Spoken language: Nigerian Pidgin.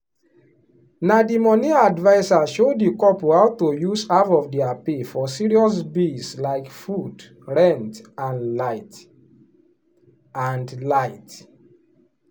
na the money adviser show the couple how to use half of their pay for serious bills like food rent and light. and light.